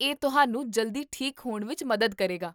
ਇਹ ਤੁਹਾਨੂੰ ਜਲਦੀ ਠੀਕ ਹੋਣ ਵਿੱਚ ਮਦਦ ਕਰੇਗਾ